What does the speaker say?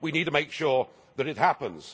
We need to make sure that it happens.